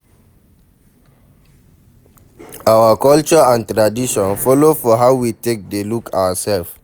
Our culture and tradition follow for how we take dey look ourself